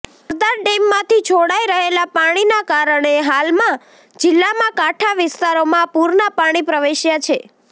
સરદાર ડેમમાંથી છોડાઇ રહેલાં પાણીના કારણે હાલમાં જિલ્લામાં કાંઠા વિસ્તારોમાં પુરના પાણી પ્રવેશ્યાં છે